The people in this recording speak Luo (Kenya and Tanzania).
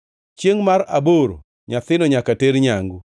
Chiengʼ mar aboro, nyathino nyaka ter nyangu.